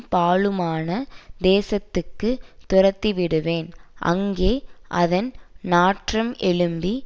பாழுமான தேசத்துக்கு துரத்திவிடுவேன் அங்கே அதன் நாற்றம் எழும்பி